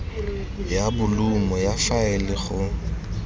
ya bolumo ya faele go